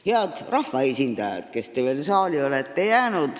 Head rahvaesindajad, kes te olete veel saali jäänud!